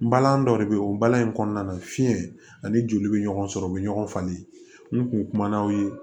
N balan dɔ de bɛ yen o balani kɔnɔna na fiɲɛ ani joli bɛ ɲɔgɔn sɔrɔ u bɛ ɲɔgɔn falen n kun na aw ye